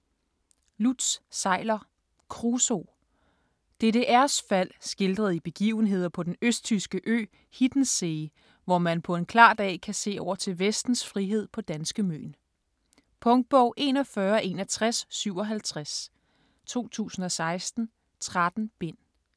Seiler, Lutz: Kruso DDR's fald skildret i begivenheder på den østtyske ø Hiddenssee, hvor man på en klar dag kan se over til vestens frihed på danske Møn. Punktbog 416157 2016. 13 bind.